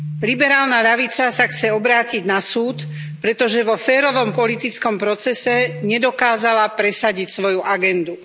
Liberálna ľavica sa chce obrátiť na súd, pretože vo férovom politickom procese nedokázala presadiť svoju agendu.